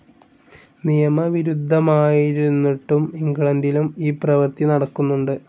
നിയമവിരുദ്ധമായിരുന്നിട്ടും ഇംഗ്ലണ്ടിലും ഈ പ്രവർത്തി നടക്കുന്നുണ്ട്.